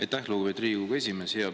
Aitäh, lugupeetud Riigikogu esimees!